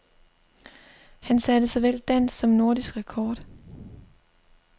Han satte såvel dansk som nordisk rekord.